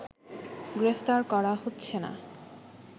গ্রেফতার করা হচ্ছে না